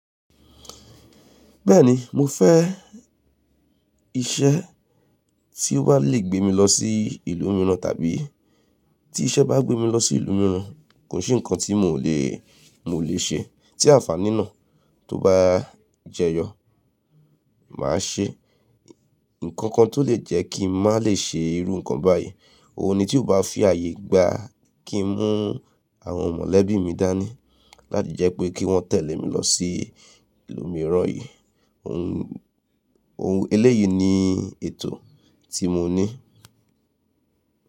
Bẹ́ẹ̀ni mo fẹ́ iṣẹ́ tí ó bá lè gbé mi lọ sí ìlú mìíràn tàbí tí iṣẹ́ bá gbé mi lọ sí ìlú mìíràn, kò sí nǹkan tí mò lè, mò lè ṣe tí àǹfàní náà tó bá jẹyọ má a ṣe. Nǹkan kan tó lè jẹ́ kí mà lè ṣe irú nǹkan báyìí, òun ni tí ó bá fi ààyè gba kí n mú àwọn mọ̀lẹ́bí mi dání láti jẹ́ pé kí wọ́n tẹ̀lé mi lọ sí ìlú mìíràn yìí. Ohun, ohun eléyìí ni ètò tí mo ní.